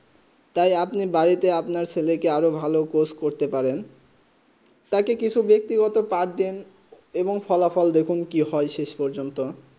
তাই আপনি বাড়ি তে আপনা ছেলে কে আর ভালো কোর্স করতে পারেন তাকে কিছু ব্যক্তি গত পার্ট দিন এবং ফলাফল দেখুন শেষ প্রজন্ত